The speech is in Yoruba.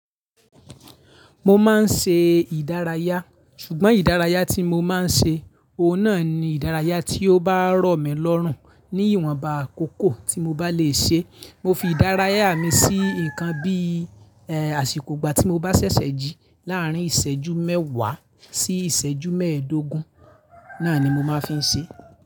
Mo máa ń ṣe ìdárayá, ṣùgbọ́n ìdárayá tí mo máa ń ṣe, òun náà ni ìdárayá tí ó bá rọ̀ mí lọ́rùn ní ìwọ̀nba àkókò tí mo bá le ṣe. Mo fi ìdárayá mi sí nǹkan bíì, eh, àsìkò ìgbà tí mo bá ṣẹ̀ṣẹ̀ jí láàrín ìṣẹ́jú mẹ́wàá sí ìṣẹ́jú mẹ́ẹ̀ẹ́dógún, náà ni mo máa fi ń ṣe.